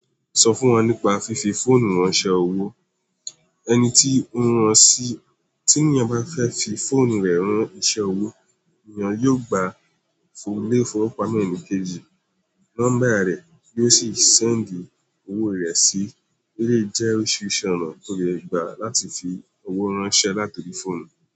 Sọ fún wọn nípa fífi fóònù rán iṣẹ́ owó. Ẹni tí ó ń rán sí, tí ènìyàn bá fẹ́ fi fóònù rẹ̀ rán iṣẹ́ owó, ènìyàn yóò gba fun, lé è fọwọ́ pamọ́ enikeji, nọ́mbà rẹ̀ yo ó sì sẹ́ǹdì owó rẹ̀ sí. Elèyi jẹ́ orísirísi ona tó lè gba láti fi owó ránṣẹ́ láti orí fóònù.